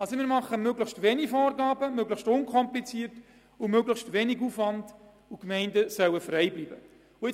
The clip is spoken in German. Wir machen möglichst wenige Vorgaben, unterstützen ein unkompliziertes Vorgehen mit möglichst geringem Aufwand, und die Gemeinden bleiben in der Ausgestaltung frei.